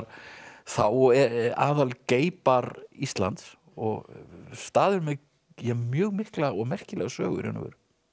þá aðal bar Íslands og staður með mjög mikla og merkilega sögu í raun og veru